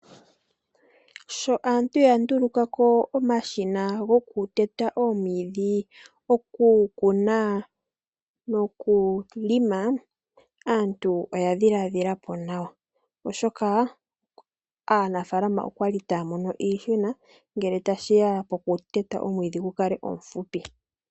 Sho aantu ya ndulukapo omashina hoku teta oomwiidhi ,okukuna nokulonga aantu oya dhilaadhilapo nawa oshoka aanafaalama okwali taamono iihuna ngele tashita poku teta omwiidhi gukale omufupi.